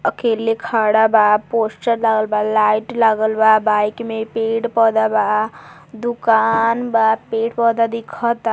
अकेले खड़ा बा पोस्टर लागल बा लाइट लागल बा बाइक में पेड़-पौधा बा दुकान बा पेड़- पौधा दिखता।